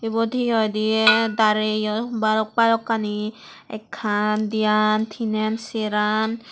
ibot hi hoi de dareye balok balokkani ekkan diyan tinen seran.